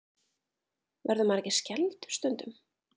Verður maður ekki skelfdur stundum?